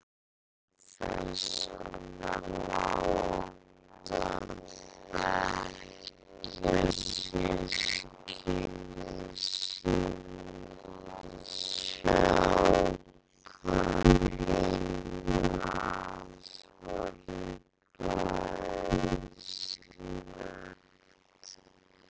Lúlli naut þess að láta bekkjarsystkini sín sjá hvað heimili hans var glæsilegt.